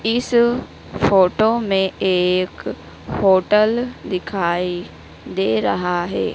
इस फोटो मे एक होटल दिखाई दे रहा है।